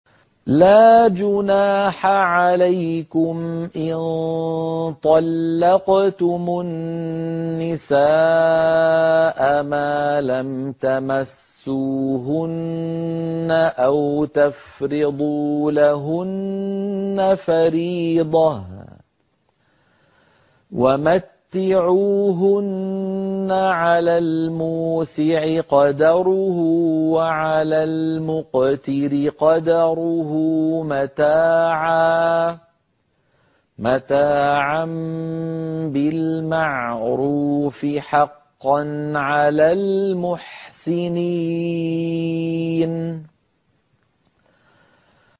لَّا جُنَاحَ عَلَيْكُمْ إِن طَلَّقْتُمُ النِّسَاءَ مَا لَمْ تَمَسُّوهُنَّ أَوْ تَفْرِضُوا لَهُنَّ فَرِيضَةً ۚ وَمَتِّعُوهُنَّ عَلَى الْمُوسِعِ قَدَرُهُ وَعَلَى الْمُقْتِرِ قَدَرُهُ مَتَاعًا بِالْمَعْرُوفِ ۖ حَقًّا عَلَى الْمُحْسِنِينَ